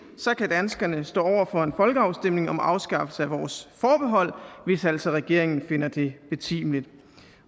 kan danskerne stå over for en folkeafstemning om afskaffelse af vores forbehold hvis altså regeringen finder det betimeligt